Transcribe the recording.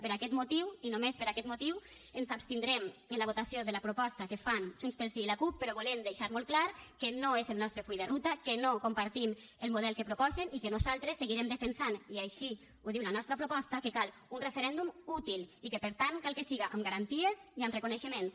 per aquest motiu i només per aquest motiu ens abstindrem en la votació de la proposta que fan junts pel sí i la cup però volem deixar molt clar que no és el nostre full de ruta que no compartim el model que proposen i que nosaltres seguirem defensant i així ho diu la nostra proposta que cal un referèndum útil i que per tant cal que siga amb garanties i amb reconeixements